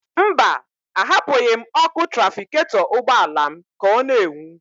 Mba, ahapụghị m ọkụ trafiketọ ụgbọala m ka ọ n'enwu.